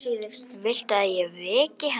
Viltu að ég veki hana?